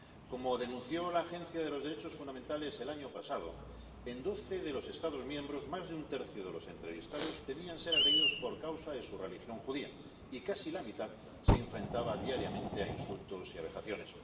Como denunció la Agencia de los Derechos Fundamentales el año pasado, en doce de los Estados miembros más de un tercio de los entrevistados temían ser agredidos por causa de su religión judía y casi la mitad se enfrentaba diariamente a insultos y a vejaciones.